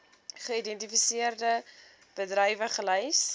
geïdentifiseerde bedrywe gelys